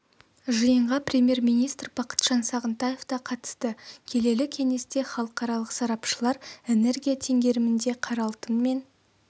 жиынға премьер-министр бақытжан сағынтаев та қатысты келелі кеңесте халықаралық сарапшылар энергия теңгерімінде қара алтын мен